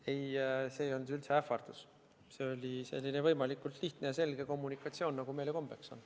Ei, see ei olnud üldse ähvardus, see oli selline võimalikult lihtne ja selge kommunikatsioon, nagu meil kombeks on.